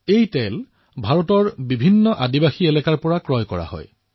ইয়াক ভাৰতৰ বিভিন্ন আদিবাসী এলেকাৰ পৰা ক্ৰয় কৰা হৈছে